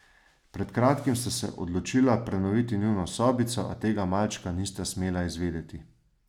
Pred kratkim sta se odločila prenoviti njuno sobico, a tega malčka nista smela izvedeti.